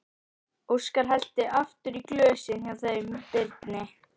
Óskar hellti aftur í glösin hjá þeim Birni.